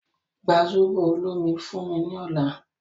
Gba zobo olomi fún mí ní ọ̀la